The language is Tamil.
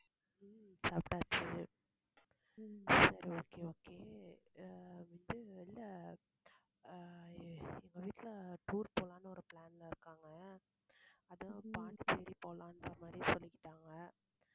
உம் சாப்பிட்டாச்சு சரி okay okay அஹ் இது இல்ல அஹ் எங்க வீட்ல tour போலாம்னு ஒரு plan ல இருக்காங்க. அதான் பாண்டிச்சேரி போலான்ற மாதிரி சொல்லிக்கிட்டாங்க